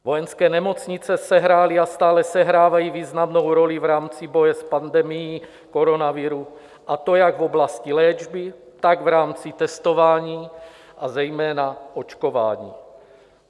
Vojenské nemocnice sehrály a stále sehrávají významnou roli v rámci boje s pandemií koronaviru, a to jak v oblasti léčby, tak v rámci testování, a zejména očkování.